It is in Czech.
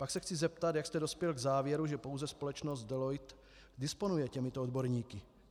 Pak se chci zeptat, jak jste dospěl k závěru, že pouze společnost Deloitte disponuje těmito odborníky.